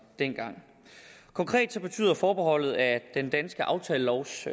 dengang konkret betyder forbeholdet at den danske aftalelovs